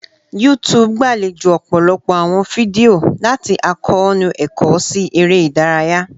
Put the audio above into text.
YouTube gbalejo ọpọlọpọ awọn fidio, lati akoonu ẹkọ si ere idaraya